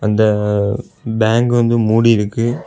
இந்த பேங்க் வந்து மூடி இருக்கு.